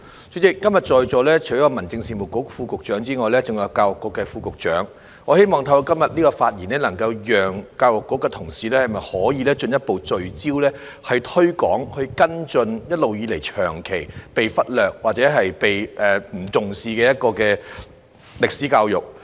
主席，今天在座除了有民政事務局副局長，還有教育局副局長，我希望透過今天的發言，能夠促使教育局的同事進一步聚焦推廣及跟進一直以來長期被忽略或不被重視的歷史教育。